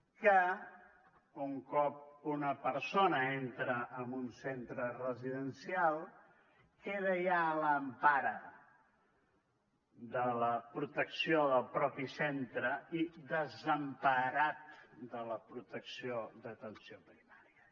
que un cop una persona entra en un centre residencial queda ja a l’empara de la protecció del mateix centre i desemparat de la protecció d’atenció primària